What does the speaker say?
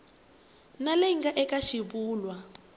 na leyi nga eka xivulwa